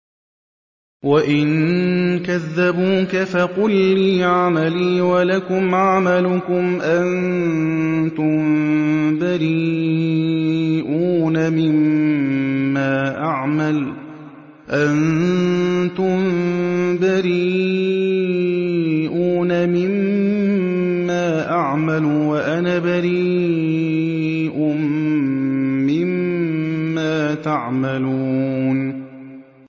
وَإِن كَذَّبُوكَ فَقُل لِّي عَمَلِي وَلَكُمْ عَمَلُكُمْ ۖ أَنتُم بَرِيئُونَ مِمَّا أَعْمَلُ وَأَنَا بَرِيءٌ مِّمَّا تَعْمَلُونَ